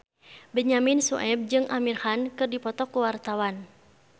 Benyamin Sueb jeung Amir Khan keur dipoto ku wartawan